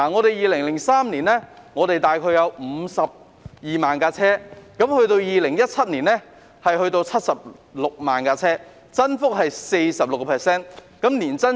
在2003年，香港大概有52萬部車輛 ，2017 年有76萬部，增幅是 46%， 年增長是 3%。